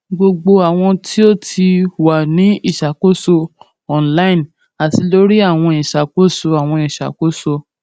gbogbo awọn ti o ti ti o ti wa ni iṣakoso online ati lori awọn iṣakoso iṣakoso awọn iṣakoso